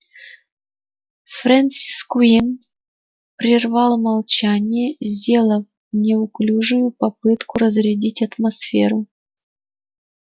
фрэнсис куинн прервал молчание сделав неуклюжую попытку разрядить атмосферу